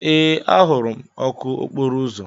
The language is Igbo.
Ee, ahụrụ m ọkụ okporo ụzọ.